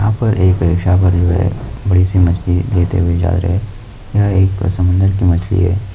ऊपर एक एक बनी हुई है बड़ी सी मछ्ली लेते हुये जा रहे है यह एक समुन्दर की मछली है।